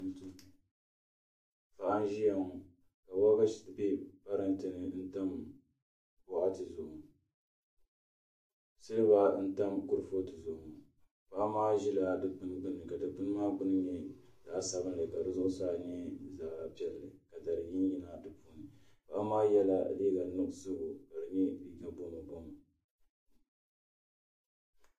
Paɣa n ʒiya ŋo ka waagashe bɛ parantɛ ni n tam boɣati zuɣu silba n tam kuripooti zuɣu ŋo paɣa maa ʒila dikpuni gbuni ka Dikpuni nyɛ zaɣ sabinli ka di zuɣusaa nyɛ zaɣ piɛlli ka dari yinyina di puuni paɣa maa yɛla liiga nuɣso